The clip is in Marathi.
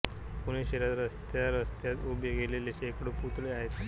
पुणे शहरात रस्त्यारस्त्यात उभे केलेले शेकडो पुतळे आहेत